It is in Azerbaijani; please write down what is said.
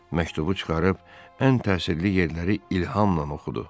Məktubu çıxarıb ən təsirli yerləri ilhamla oxudu.